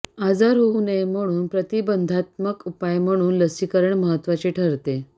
आजार होऊ नये म्हणून प्रतिबंधात्मक उपाय म्हणून लसीकरण महत्त्वाचे ठरते